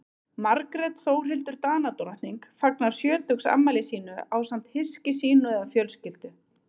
Margrét Þórhildur Danadrottning fagnar sjötugsafmæli sínu ásamt hyski sínu eða fjölskyldu.